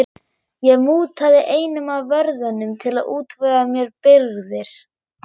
Ég mútaði einum af vörðunum til að útvega mér birgðir.